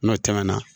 N'o tɛmɛna